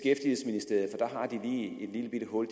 lillebitte hul